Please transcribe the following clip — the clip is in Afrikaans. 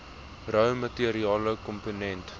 rou materiale komponente